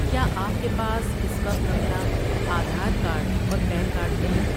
کیا آپ کے پاس اس وقت اپنا آدھار کارڈ اور پین کارڈ ہے؟